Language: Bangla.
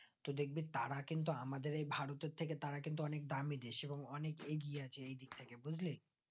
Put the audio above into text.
তো দেখবি তারা কিন্তু আমাদের থেকে তারা কিন্তু অনিক দামি দেশ এবং অনিক এগিয়ে আছে এই দিক থেকে বুজলি